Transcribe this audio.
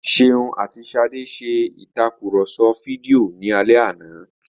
Ṣeun àti Ṣadé ṣe ìtakùrọ̀sọ fídíò ní alẹ́ àná